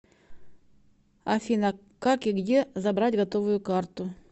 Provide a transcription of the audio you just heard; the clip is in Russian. афина как и где забрать готовую карту